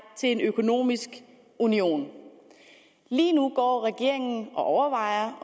til en økonomisk union lige nu går regeringen og overvejer